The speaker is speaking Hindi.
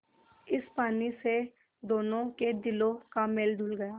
इस पानी से दोनों के दिलों का मैल धुल गया